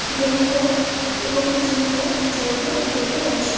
ব্যায়াম করার এবং জিম করার যন্ত্র দেখতে পাচ্ছি।